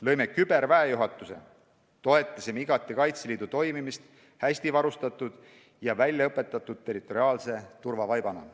Lõime küberväejuhatuse ning oleme igati toetanud Kaitseliidu toimimist hästi varustatud ja väljaõpetatud territoriaalse turvavaibana.